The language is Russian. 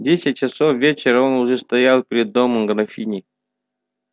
в десять часов вечера он уже стоял перед домом графини